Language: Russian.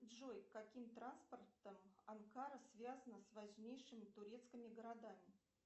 джой каким транспортом анкара связана с важнейшими турецкими городами